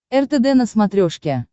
ртд на смотрешке